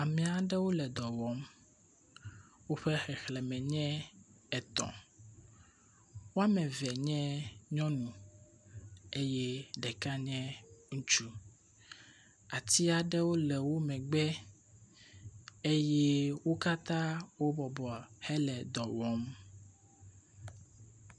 ame aɖewo le dɔwɔm wóƒe xexlēme nye etɔ̃ woamevie nye nyɔŋu ye ɖeka nye ŋutsu atuaɖewo le wó megbe eye wó katã wó bɔbɔ hele dɔwɔm